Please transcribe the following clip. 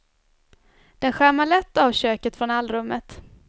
Den skärmar lätt av köket från allrummet.